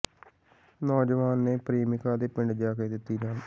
ਨੌਜਵਾਨ ਨੇ ਪ੍ਰੇਮਿਕਾ ਦੇ ਪਿੰਡ ਜਾ ਕੇ ਦਿੱਤੀ ਜਾਨ